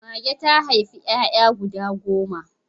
Mage ta haifi 'ya'ya guda goma.